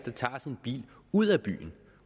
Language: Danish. tager sin bil ud af byen